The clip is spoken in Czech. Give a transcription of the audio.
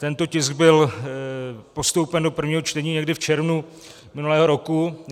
Tento tisk byl postoupen do prvního čtení někdy v červnu minulého roku.